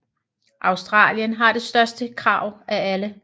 Australien har det største krav af alle